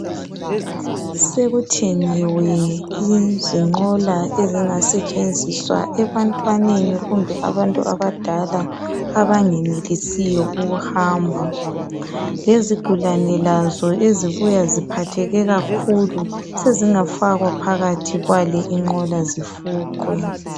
Sekuthengiwe izinqola ezingasetshenziswa ebantwaneni kumbe abantu abadala abangenelisiyo ukuhamba lezigulane lazo ezibuya ziphatheke kakhulu sezingafakwa phakathi kwale inqola zifuqwe.